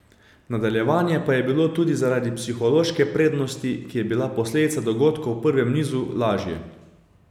Nadaljevanje pa je bilo tudi zaradi psihološke prednosti, ki je bila posledica dogodkov v prvem nizu, lažje.